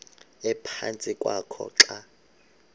ephantsi kwakho xa